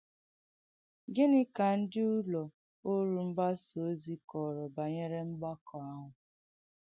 Gìní ka ndí ùlọ̀ òrù mgbasà ozí kọ̀rọ̀ banyere mgbàkọ̀ àhụ̄?